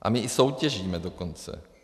A my i soutěžíme dokonce.